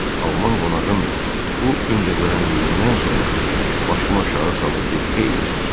Alman qonağın bu öncəgörənliyindən sonra başım aşağı salıb bir xeyli sustum.